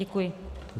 Děkuji.